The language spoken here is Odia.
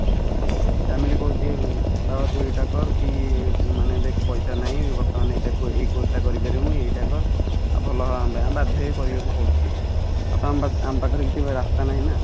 family କହୁଛି ବାବା ତୁ ଏଇଟା କର ମାନେ ଦେଖ ପଇସା ନାହି ବର୍ତ୍ତମାନ ଏଇଟା ଏଇ course ଟା କରିପାରିବୁନି ଏଇଟା କର ଆଉ ଭଲ ହବ ଆମ ପାଇଁ ଆମେ ବାଧ୍ୟ ହେଇ କରିବା କୁ ପଡୁଛି ଆଉ ତ ଆମ ପାଖରେ କିଛି ରାସ୍ତା ନାହି ନା